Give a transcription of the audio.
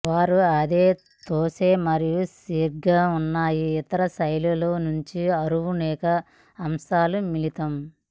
వారు అదే తోసే మరియు శీఘ్ర ఉన్నాయి ఇతర శైలుల నుంచి అరువు అనేక అంశాలు మిళితం